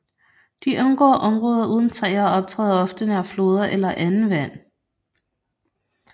De undgår områder uden træer og optræder ofte nær floder eller andet vand